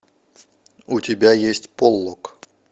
у тебя есть полок